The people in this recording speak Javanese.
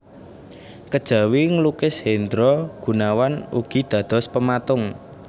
Kejawi nglukis Hendra Gunawan ugi dados pematung